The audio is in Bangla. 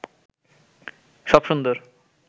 সব সুন্দর